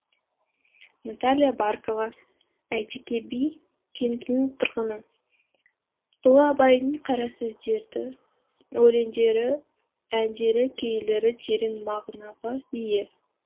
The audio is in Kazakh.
наталия баркова әйтеке би кентінің тұрғыны ұлы абайдың қара сөздері өлеңдері әндері күйлері терең мағынаға ие